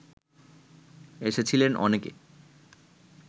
এসেছিলেন অনেকে